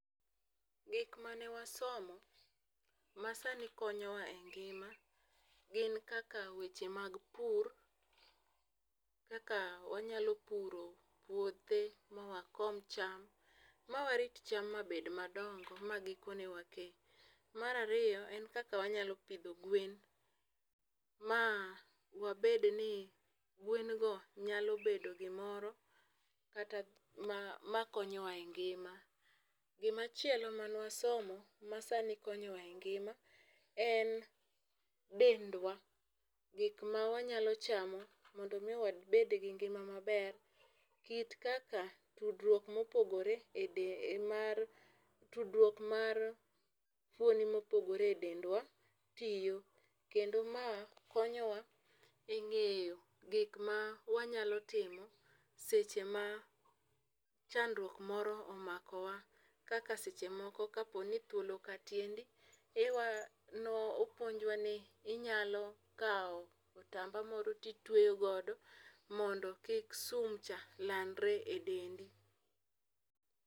Gik mane wasomo masani konyowa e ngima gin kaka weche mag pur. Kaka wanyalo puro puothe, ma wakom cham, ma warit cham ma bed madongo, ma gikone wakee. Mar ariyo en kaka wanyalo pidho gwen, ma wabed ni gwen go nyalo bedo gimoro kata ma, ma konyowa e ngima. Gima chielo mane wasomo, ma sani konyowa engima en dendwa. Gik ma wanyalo chamo, mondo omiyo wabed gi ngima maber. Kit kaka tudruok mopogore mar, tudruok mar fuondi mopogore e dendwa tiyo. Kendo mae konyowa e ngéyo gik ma wanyalo timo seche ma chandruok moro omakowa. Kaka seche moko ka po ni thuol oka tiendi ne opunjwa ni inyalo kawo otamba moro to itweyo godo modo kik sum cha landre e dendi.